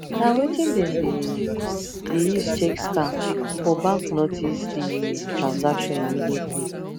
na wetin them dey dey use check scam for bank notice the transaction immediately